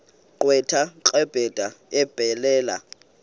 gqwetha kabrenda ebhalela